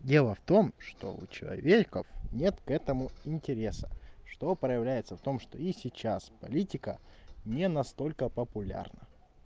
дело в том что у человеков нет к этому интереса что проявляется в том что и сейчас политика не настолько популярна